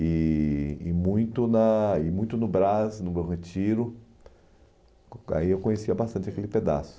E e muito na e muito no Brás, no Bom Retiro, co aí eu conhecia bastante aquele pedaço.